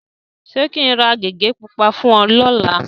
Ṣé kí n ra gègé pupa fún ẹ lọ́la?